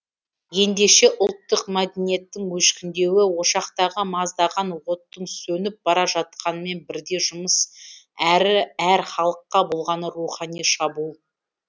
ендеше ұлттық мәдениеттің өшкіндеуі ошақтағы маздаған оттың сөніп бара жатқанымен бірдей жұмыс әрі әр халыққа болған рухани шабуыл